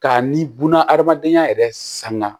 Ka ni bunahadamadenya yɛrɛ sanuya